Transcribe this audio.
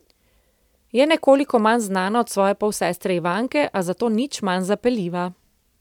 Je nekoliko manj znana od svoje polsestre Ivanke, a zato nič manj zapeljiva.